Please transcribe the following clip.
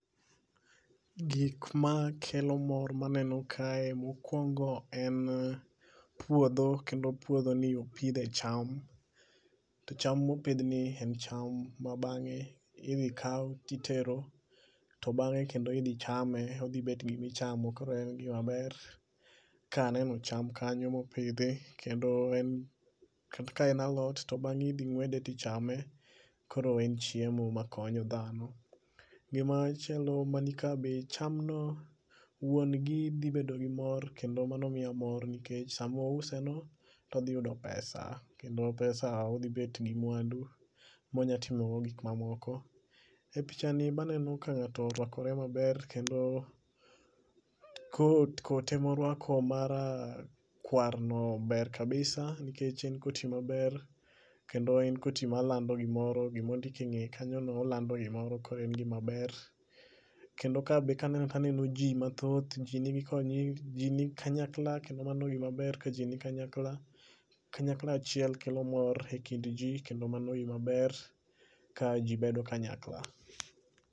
Gikmakelo mor maneno kae mokwongo en puodho kendo puodhoni opidhe cham to cham mopidhni en cham ma bang'e idhi kaw titero to bang'e kendo idhi chame odhibet gimichamo koro en gimaber kaneno cham kanyo mopidhi kendo ka en alot to bang'e idhi ng'wede tichame, koro en chiemo makonyo dhano. Gimachielo manika be chamno wuongi dhibedo gi mor kendo mano miya mor nikech samouse no todhiyudo pesa kendo pesa odhibet gi mwandu monya timogo gikmamoko. E pichani be aneno ka ng'ato orwakre maber kendo kot emorwako marakwarno ber kabisa nikech en koti maber kendo en koti malando gimoro gimondik e ng'eye kanyono olando gimoro koro en gimaber. Kendo kabe kaneno taneno ji mathoth, ji ni kanyakla kendo mano gimaber ka ji ni kanyakla, kanyakla achiel kelo mor e kind ji kendo mano gimaber ka ji bedo kanyakla.